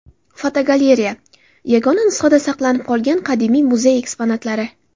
Fotogalereya: Yagona nusxada saqlanib qolgan qadimiy muzey eksponatlari.